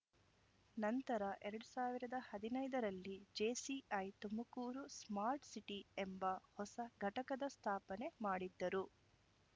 ನಂತರ ಎರಡ್ ಸಾವಿರದ ಹದಿನೈದರಲ್ಲಿ ಜೆಸಿಐ ತುಮಕೂರು ಸ್ಮಾರ್ಟ್‌ ಸಿಟಿ ಎಂಬ ಹೊಸ ಘಟಕದ ಸ್ಥಾಪನೆ ಮಾಡಿದ್ದರು